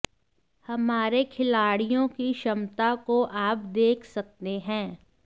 हमारे खिलाड़ियों की क्षमता को आप देख सकते हैं